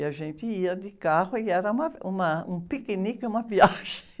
E a gente ia de carro e era, uma, um piquenique e uma viagem.